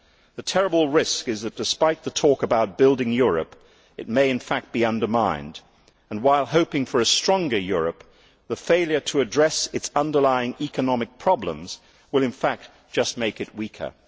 The terrible risk is that, despite the talk about building Europe, it may in fact be undermined, and while hoping for a stronger Europe, the failure to address its underlying economic problems will in fact just make it weaker.